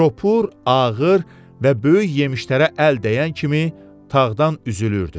Çopur, ağır və böyük yemişlərə əl dəyən kimi tağdan üzülürdü.